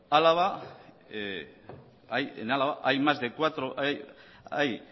en álava hay